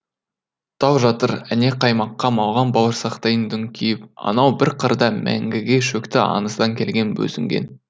тау жатыр әне қаймаққа малған бауырсақтайын дүңкиіп анау бір қырда мәңгіге шөкті аңыздан келген бозінген